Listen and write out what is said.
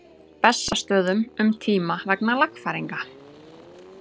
Bessastöðum um tíma vegna lagfæringa.